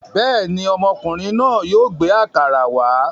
Bẹ́ẹ̀ ni, ọmọkùnrin náà yóò gbé àkàrà wá.